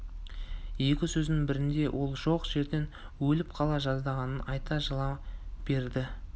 екі сөзінің бірінде ол жоқ жерден өліп қала жаздағанын айтып жылай береді